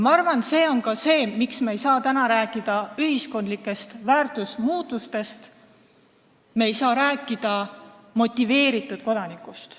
Ma arvan, et see on ka põhjus, miks me ei saa täna rääkida ühiskondlikest väärtusmuutustest, me ei saa rääkida motiveeritud kodanikust.